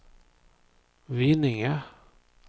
Vinninga